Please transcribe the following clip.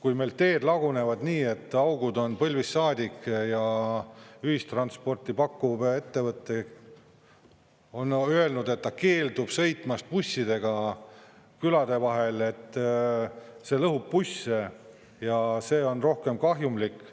Aga meil teed lagunevad nii, et augud on põlvist saadik, ja ühistransporti pakkuv ettevõte on öelnud, et ta keeldub sõitmast bussidega külade vahel, et see lõhub busse ja see on rohkem kahjumlik.